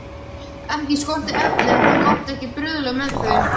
Ekki skorti efnin, en það mátti ekki bruðla með þau.